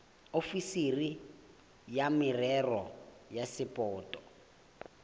ofisiri ya merero ya sapoto